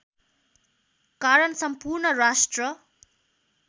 कारण सम्पूर्ण राष्ट्र